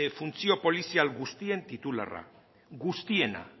funtzio polizial guztien titularra guztiena